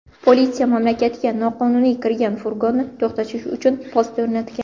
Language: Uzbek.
Politsiya mamlakatga noqonuniy kirgan furgonni to‘xtatish uchun post o‘rnatgan.